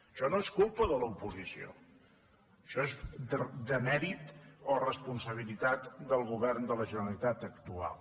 això no és culpa de l’oposició això és demèrit o responsabilitat del govern de la generalitat actual